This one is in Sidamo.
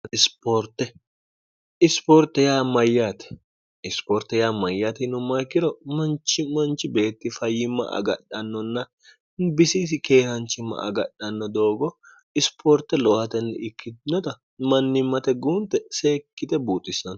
iotemyte isipoorte yaa mayyatinummayikkiro manchi manchi beetti fayyimma agadhannonna bisiisi keehanchimma agadhanno doogo isipoorte lohatenni ikkitnota mannimmate guunte seekkite buuxissano